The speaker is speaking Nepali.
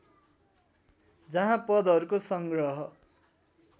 जहाँ पदहरूको संग्रह